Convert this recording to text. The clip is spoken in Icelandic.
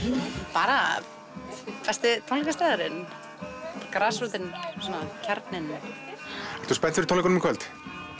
bara besti tónleikastaðurinn grasrótin og kjarninn ertu spennt fyrir tónleikunum í kvöld